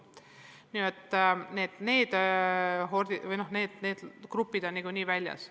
Nii et need kohordid või need grupid on niikuinii väljas.